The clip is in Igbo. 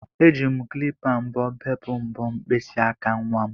Eji m klipa mbọ bepụ mbọ mkpịsị aka nwa m